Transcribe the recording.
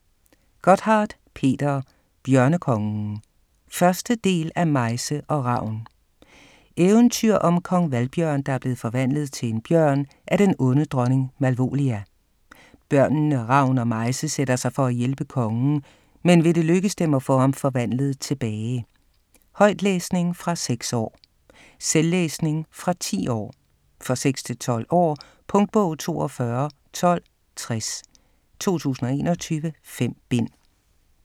Gotthardt, Peter: Bjørnekongen 1. del af Mejse og Ravn. Eventyr om Kong Valbjørn, der er blevet forvandlet til en bjørn af den onde dronning Malvólia. Børnene Ravn og Mejse sætter sig for at hjælpe kongen, men vil det lykkes dem at få ham forvandlet tilbage? Højtlæsning fra 6 år. Selvlæsning fra 10 år. For 6-12 år. Punktbog 421260 2021. 5 bind.